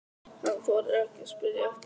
Hann þorir ekki að spyrja eftir henni.